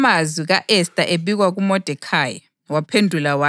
Kwathi amazwi ka-Esta ebikwa kuModekhayi,